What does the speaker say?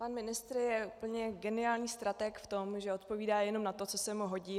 Pan ministr je úplně geniální stratég v tom, že odpovídá jenom na to, co se mu hodí.